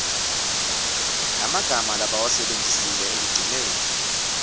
lemagama labawasebentisile ekugcineni